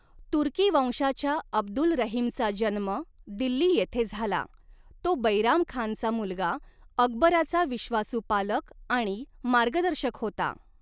तुर्की वंशाच्या अब्दुल रहीमचा जन्म दिल्ली येथे झाला, तो बैराम खानचा मुलगा, अकबराचा विश्वासू पालक आणि मार्गदर्शक होता.